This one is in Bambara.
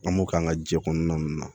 An b'o k'an ka jɛkɔnɔna ninnu na